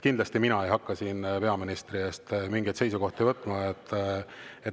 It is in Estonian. Kindlasti mina ei hakka siin peaministri eest mingeid seisukohti võtma.